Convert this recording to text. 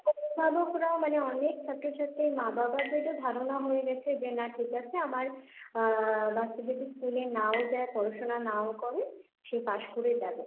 অভিভাবকরাও মানে অনেক ছাত্রছাত্রীর মা বাবাদেরও ধারণা হয়ে গেছে যে না ঠিক আছে, আমার আহ বাচ্চাদের স্কুলে নাও যায় পড়াশোনা নাও করে সে পাস করে যাবে।